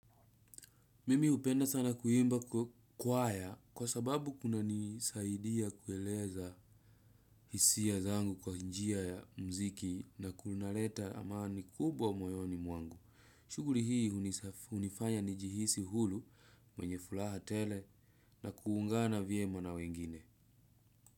Mimi hupenda sana kuimba kwaya kwa sababu kuna nisaidia kueleza hisia zangu kwa njia ya mziki na kunaleta amani kubwa moyoni mwangu. Shughuli hii hunifanya njihisi huru mwenye furaha tele na kuungana vyema na wengine.